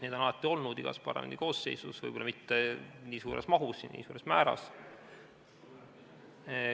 Neid on alati olnud igas parlamendikoosseisus, võib-olla mitte nii suures mahus ja nii suures määras.